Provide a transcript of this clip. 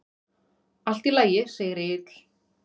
Allt í lagi, segir Egill.